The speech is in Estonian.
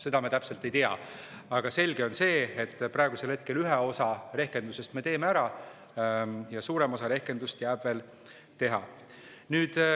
Seda me täpselt ei tea, aga selge on see, et praegu me teeme ühe osa rehkendusest ära ja suurem osa rehkendusest jääb veel teha.